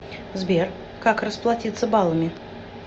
сбер как расплатится балами